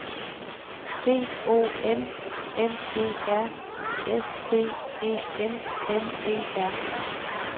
D O M M E R S T E M M E R